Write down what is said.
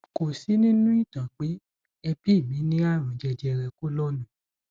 kò sí nínú ìtàn pé ẹbí mi ní àrùn jẹjẹrẹ kólọọnù